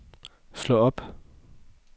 slå op